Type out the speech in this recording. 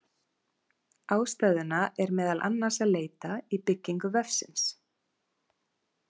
Ástæðuna er meðal annars að leita í byggingu vefsins.